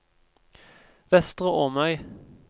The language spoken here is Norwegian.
Vestre Åmøy